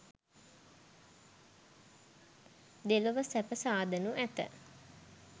දෙලොව සැප සාදනු ඇත.